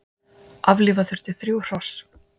Aflífa þurfti þrjú hross